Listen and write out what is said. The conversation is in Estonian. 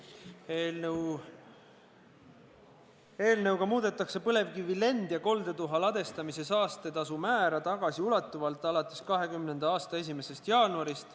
Eelnõu eesmärk on muuta põlevkivi lend- ja koldetuha ladestamise saastetasu määra tagasiulatuvalt alates 2020. aasta 1. jaanuarist.